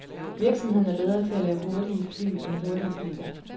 Virksomheden er bedre til at lave hurtige fly end hurtige biler.